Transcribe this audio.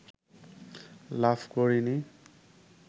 লাভ করেনি